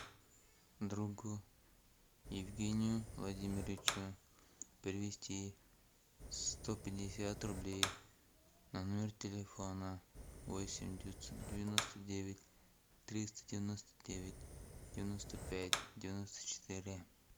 другу евгению владимировичу перевести сто пятьдесят рублей на номер телефона восемь девятьсот девяносто девять триста девяносто девять девяносто пять девяносто четыре